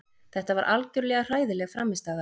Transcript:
Þetta var algjörlega hræðileg frammistaða.